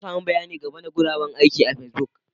Na sami bayanin game da guraben aiki a Facebook